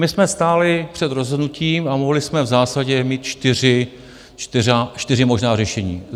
My jsme stáli před rozhodnutím a mohli jsme v zásadě mít čtyři možná řešení.